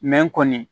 kɔni